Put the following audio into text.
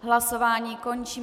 Hlasování končím.